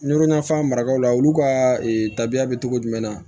Nɔrɔfan maraw la olu ka tabiya bɛ cogo jumɛn na